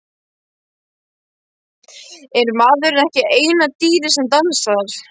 Er maðurinn ekki eina dýrið sem dansar?